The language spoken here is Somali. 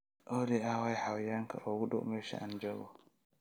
olly aaway xayawaanka ugu dhow meesha aan joogo